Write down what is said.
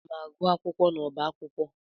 Aga m agụ akwụkwọ n'ọbá akwụkwọ.